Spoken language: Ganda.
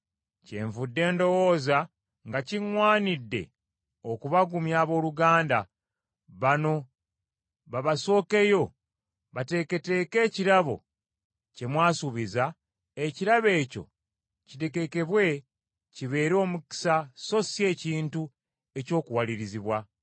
Kyenvudde ndowooza nga kiŋŋwanidde okubagumya abooluganda, bano babasookeyo, bateeketeeke ekirabo kye mwasuubiza, ekirabo ekyo kitegekebwe kibeere omukisa so si ekintu eky’okuwalirizibwa.